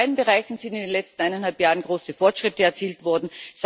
In beiden Bereichen sind in den letzten eineinhalb Jahren große Fortschritte erzielt worden